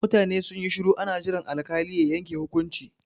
Mutane sun yi shuru ana jiran alkali ya yanke hukunci.